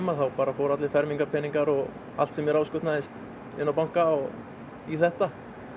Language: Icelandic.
þá fóru allir fermingarpeningar og allt sem mér áskotnaðist inn á banka og í þetta